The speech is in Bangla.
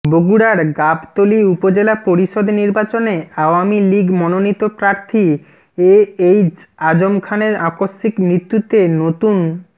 বগুড়ার গাবতলী উপজেলা পরিষদ নির্বাচনে আওয়ামী লীগ মনোনীত প্রার্থী এএইচ আযম খানের আকস্মিক মৃত্যুতে নতুন